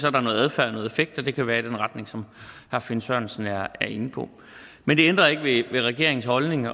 er noget adfærd og noget effekt og det kan være i den retning som herre finn sørensen er inde på men det ændrer ikke ved regeringens holdning